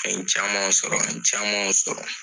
An ye camanw sɔrɔ an ye camanw sɔrɔ.